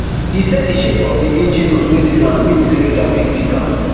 e say di shape of di engine nose wey dey round mean say radar fit pick am